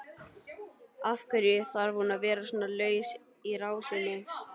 Af hverju þarf hún að vera svona laus í rásinni?